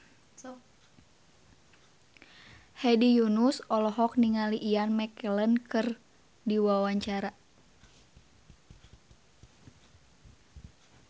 Hedi Yunus olohok ningali Ian McKellen keur diwawancara